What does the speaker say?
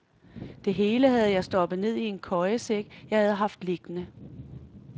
Det hele havde jeg stoppet ned i en køjesæk, jeg havde haft liggende.